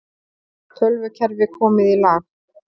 Tölvukerfi komið í lag